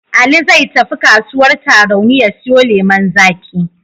Ali zai tafi kasuwar Tarauni ya siyo lemon zaƙi.